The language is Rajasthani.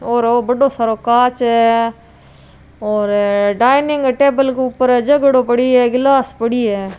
और ओ बढ़ो सारो कांच है और डाइनिंग टेबल के ऊपर जगडो पड़यो है गिलास पड़ी है।